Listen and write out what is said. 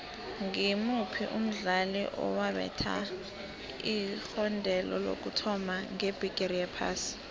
ngimuphi umdlali owabetha igondelo lokuthoma ngebhigiri yephasi